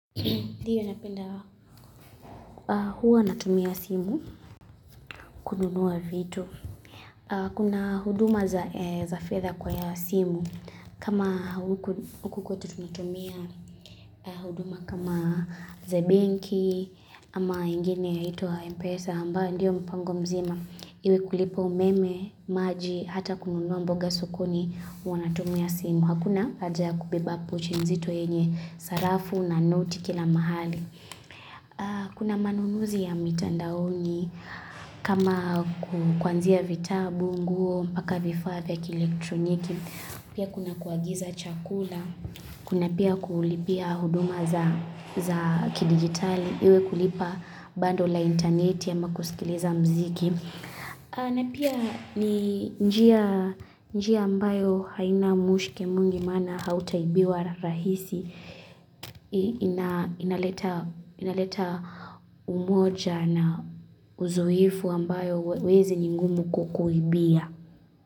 Ndiyo, huwa natumia simu kununua vitu. Kuna huduma za fedha kwenye simu. Kama huku kwetu tunatumia huduma kama za benki ama ingine yaitwa mpesa ambayo ndiyo mpango mzima. Iwe kulipa umeme, maji, hata kununua mboga sokoni huwa natumia simu. Hakuna haja ya kubeba pochi nzito yenye sarafu na noti kila mahali. Kuna manunuzi ya mitandaoni. Kama kwanzia vitabu, nguo, mpaka vifaa vya kielektroniki, pia kuna kuagiza chakula, kuna pia kulipia huduma za kidigitali, iwe kulipa bando la intaneti ama kusikiliza muziki. Na pia ni njia ambayo haina mushke mwingi maana hautaibiwa kirahisi. Inaleta umoja na uzoefu ambao wezi ni ngumu kukuibia.